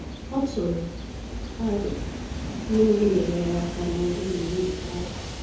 Ọ tụrụ arọ ihe ndị nyere ya aka ná ọrụ yiri nke ahu